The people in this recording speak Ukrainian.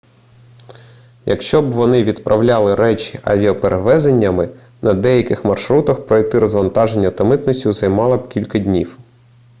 якщо б вони відправляли речі авіаперевезеннями на деяких маршрутах пройти розвантаження та митницю займало б кілька днів